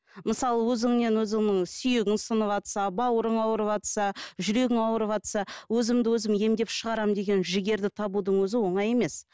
мысалы өзіңнен өзінің сүйегің сыныватса бауырың ауырыватса жүрегің ауырыватса өзімді өзім емдеп шығарамын деген жігерді табудың өзі оңай емес